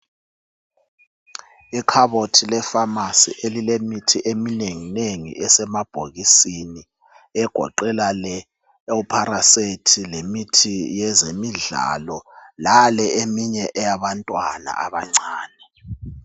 Ikhabothi lefamasi elilemithi eminengi nengi esemabhokisini egoqela le ipharasethi lemithi yezemidlalo lale imithi eyabantwana abancane.